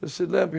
Eu se lembro.